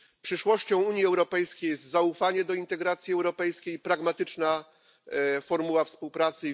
Przyszłością Unii Europejskiej jest zaufanie do integracji europejskiej i pragmatyczna formuła współpracy.